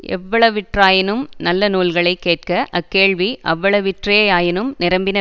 எவ்வளவிற்றாயினும் நல்ல நூல்களை கேட்க அக்கேள்வி அவ்வளவிற்றே யாயினும் நிரம்பின